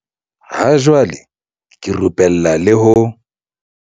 Ha jwale ke rupella le ho.